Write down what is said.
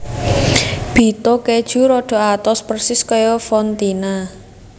Bitto Keju rada atos persis kaya fontina